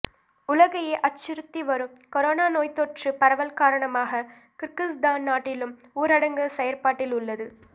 உலகையே அச்சுறுத்திவரும் கொரோனா நோய்த்தொற்றுப் பரவல் காரணமாக கிர்கிஸ்தான் நாட்டிலும் ஊரடங்கு செயற்பாட்டில் உள்ளது